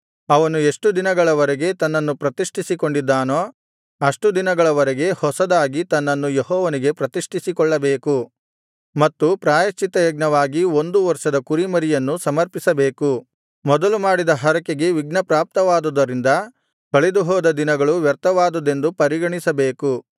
ಅವನು ಎಷ್ಟು ದಿನಗಳವರೆಗೆ ತನ್ನನ್ನು ಪ್ರತಿಷ್ಠಿಸಿಕೊಂಡಿದ್ದಾನೋ ಅಷ್ಟು ದಿನಗಳವರೆಗೆ ಹೊಸದಾಗಿ ತನ್ನನ್ನು ಯೆಹೋವನಿಗೆ ಪ್ರತಿಷ್ಠಿಸಿಕೊಳ್ಳಬೇಕು ಮತ್ತು ಪ್ರಾಯಶ್ಚಿತ್ತಯಜ್ಞವಾಗಿ ಒಂದು ವರ್ಷದ ಕುರಿಮರಿಯನ್ನು ಸಮರ್ಪಿಸಬೇಕು ಮೊದಲು ಮಾಡಿದ್ದ ಹರಕೆಗೆ ವಿಘ್ನಪ್ರಾಪ್ತವಾದುದರಿಂದ ಕಳೆದುಹೋದ ದಿನಗಳು ವ್ಯರ್ಥವಾದುದೆಂದು ಪರಿಗಣಿಸಬೇಕು